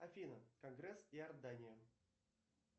афина конгресс иордания